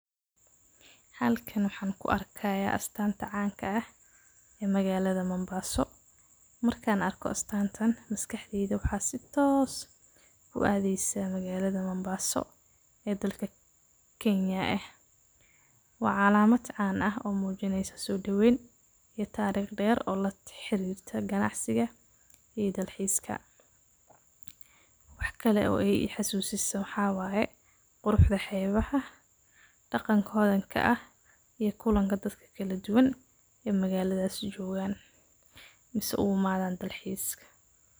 Halkaan waxaan ku arkayaa astaanta caanka ah ee magaalada Mombaso. Markaan arko astaantan maskaxdiinta, waxaa sitooos ku aadaysa magaalada Mombaso ee dalka Kenya ah. Waa calaamad caan ah oo muujinaysa suudhoweyn iyo taariikh dheer oo la xiriirta ganacsiga iyo dalxiiska. Wax kale oo ay xusuusisaa waxa waaye qurxda xeebaha, dhaqanka hoodan ka ah iyo kulanka dadka kala duwan ee magaaladaas joogaan, misna ugu maadaan dalxiiska.